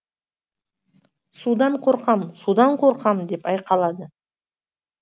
судан қорқам судан қорқам деп айқалады